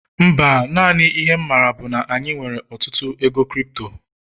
Mba, naanị ihe'm maara bu na anyị nwere ọtụtụ ego crypto